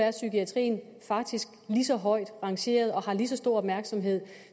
at psykiatrien faktisk nu lige så højt rangeret og får lige så stor opmærksomhed